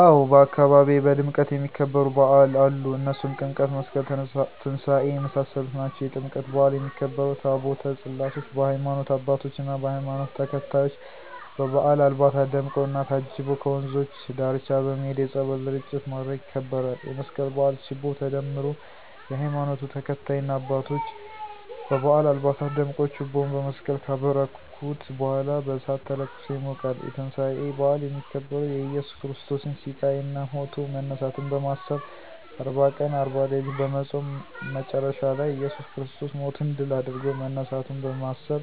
አዎ! በአካባቢየ በድምቀት የሚከበሩ በዓል አሉ። እነሱም ጥምቀት፣ መስቀል፣ ትንሳኤ የመሳሰሉት ናቸው። -የጥምቀት በዓል የሚከበረው፦ ታቦተ ፅላቶች በሀይማኖት አባቶች እና በሀይማኖቱ ተከታዮች በባበዓል አልባሳት ደምቀው እና ታጅቦ ከወንዞች ዳርቻ በመሄድ የፀበል እርጭት ማድረግ ይከበራል። -የመስቀል በዓል፦ ችቦ ተደምሮ የሀይማኖቱ ተከታይ እና አባቶች በበዓል አልባሳት ደምቀው ችቦውን በመስቀል ከባረኩት በኃላ በእሳት ተለኩሶ ይሞቃል። -የትንሳኤ በዓል፦ የሚከበረው የእየሱስ ክርስቶስን ሲቃይ እና ሞቶ መነሳትን በማሰብ አርባ ቀን አርባ ሌሊት በመፆም መቸረሻ ላይ እየሱስ ክርስቶስ ሞትን ድል አድርጎ መነሳቱን በመሠብ